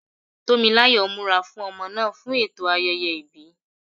Tó mi láyọ̀ ń múra fún ọmọ náà fún ẹ̀tọ́ ayẹyẹ ìbí.